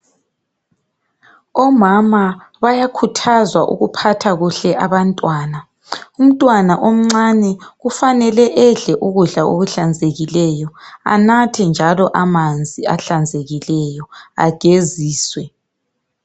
Omama bayakhuthazwa ukuphatha kuhle abantwana. Umntwana omncane kufanele edle ukudla okuhlanzekileyo. Enathe njalo amanzi ahlanzekileyo,. Ageziswe.